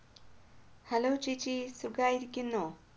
Hello ചേച്ചി സുഖമായിരിക്കുന്നോ